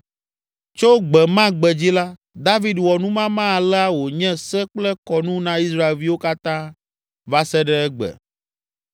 Tso gbe ma gbe dzi la, David wɔ numama alea wònye se kple kɔnu na Israelviwo katã va se ɖe egbe.